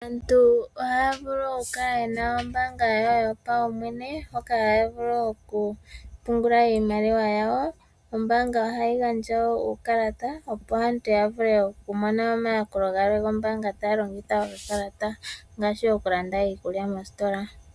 Aantu ohaya vulu oku kala yena ombaanga yawo yopaumwene hoka haya vulu oku pungula iimaliwa yawo, ombaanga ohayi gandja wo uukalata opo aantu ya vule oku mona omayakulo gwombaanga taya longitha okakalata noshowo oku landa iikulya moositola.